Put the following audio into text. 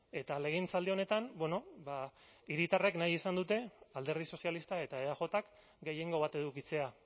eta legegintzaldi honetan bueno ba hiritarrek nahi izan dute alderdi sozialistak eta eajk gehiengo bat edukitzea